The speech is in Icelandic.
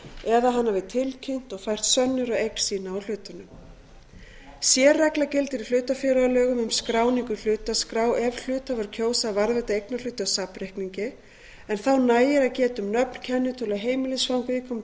eða hann hafi tilkynnt og fært sönnur á eign sína á hlutunum sérregla gildir í hlutafélagalögum um skráningu í hlutaskrá ef hluthafar kjósa að varðveita eignarhluti á safnreikningi en þá nægir að geta um nöfn kennitölu og heimilisfang viðkomandi